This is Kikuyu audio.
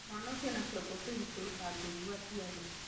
Mwana ũcio ena kĩongo kĩritũ, ndaiguaga aciari